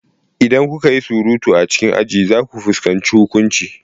Idan kuka yi surutu a cikin aji, za ku fuskanci huƙunci.